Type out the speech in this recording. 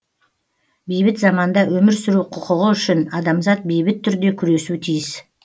бейбіт заманда өмір сүру құқығы үшін адамзат бейбіт түрде күресу тиіс